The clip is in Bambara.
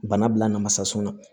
Bana bila na na